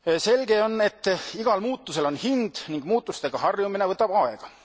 Selge on, et igal muutusel on hind ning muutustega harjumine võtab aega.